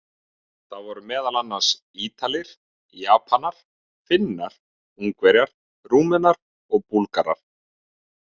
Það voru meðal annars: Ítalir, Japanar, Finnar, Ungverjar, Rúmenar og Búlgarar.